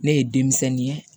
Ne ye denmisɛnnin ye